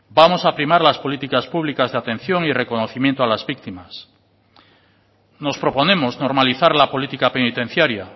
vamos a primar las políticas públicas de atención y reconocimiento a las víctimas nos proponemos normalizar la política penitenciaria